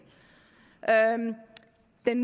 den